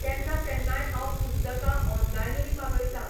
केन्ना केन्नाय हांव पुस्तकां ऑनलायनूय मागयतां.